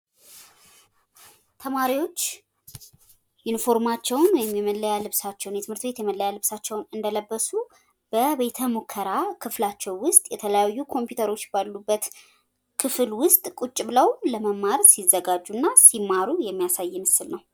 ተማሪዎች የትምህርት ቤት የመለያ ልብሳቸውን ለብሰው በቤተ ሙከራ ውስጥ ለመማር ሲዘጋጁና ሲማሩ የሚያሳይ ምስል ነው።